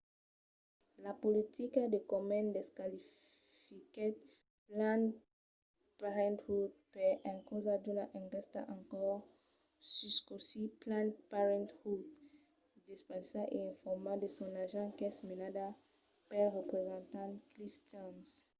la politica de komen desqualifiquèt planned parenthood per encausa d'una enquèsta en cors sus cossí planned parenthood despensa e informa de son argent qu'es menada pel representant cliff stearns